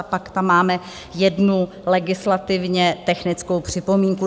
A pak tam máme jednu legislativně technickou připomínku.